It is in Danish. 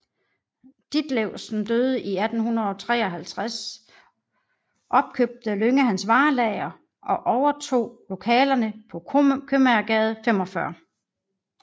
Ditlewsen døde i 1853 opkøbte Lynge hans varelager og overtog lokalerne på Købmagergade 45